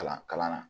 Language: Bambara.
Kalan kalan na